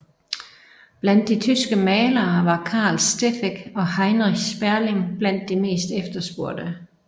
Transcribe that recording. Blandt de tyske malere var Carl Steffeck og Heinrich Sperling blandt de mest efterspurgte